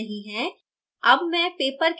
कोई बदलाव नहीं है